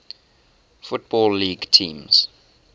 football league teams